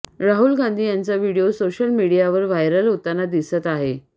राहुल गांधी यांचा video social मीडियावर viral होताना दिसत आहे